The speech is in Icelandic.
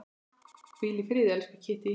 Hvíl í friði, elsku Kittý.